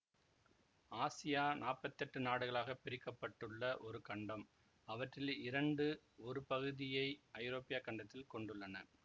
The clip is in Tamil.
ஆசியா நாப்பத்தெட்டு நாடுகளாகப் பிரிக்க பட்டுள்ள ஒரு கண்டம் அவற்றில் இரண்டு ஒரு பகுதியை ஐரோப்பியாக் கண்டத்தில் கொண்டுள்ளன